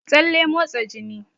Tsalle motsa jini